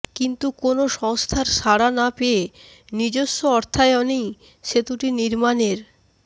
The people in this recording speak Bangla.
কিন্তু কোনো সংস্থার সাড়া না পেয়ে নিজস্ব অর্থায়নেই সেতুটি নির্মাণের